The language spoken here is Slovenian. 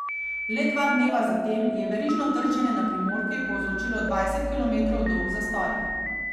Le dva dneva zatem je verižno trčenje na primorki povzročilo dvajset kilometrov dolg zastoj.